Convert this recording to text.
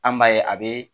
An b'a ye a bɛ